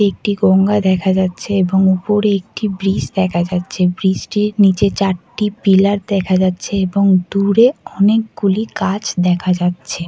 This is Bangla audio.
একটি গঙ্গা দেখা যাচ্ছে এবং উপরে একটি ব্রিজ দেখা যাচ্ছে। ব্রিজ -টির নীচে চারটি পিলার দেখা যাচ্ছে এবং দূরে অনেকগুলি গাছ দেখা যাচ্ছে ।